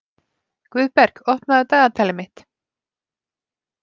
Guðberg, opnaðu dagatalið mitt.